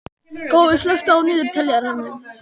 Gói, slökktu á niðurteljaranum.